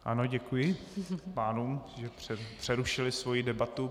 Ano, děkuji pánům, že přerušili svoji debatu.